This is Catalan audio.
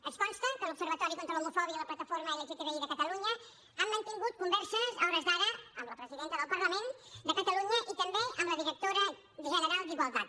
ens consta que l’observatori contra l’homofòbia i la plataforma lgtbi de catalunya han mantingut converses a hores d’ara amb la presidenta del parlament de catalunya i també amb la directora general d’igualtat